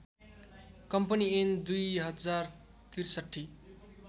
company ऐन २०६३